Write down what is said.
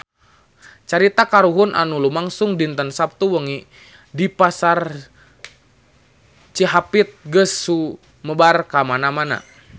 Carita kahuruan anu lumangsung dinten Saptu wengi di Pasar Cihapit geus sumebar kamana-mana